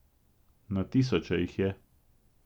Na tisoče jih je.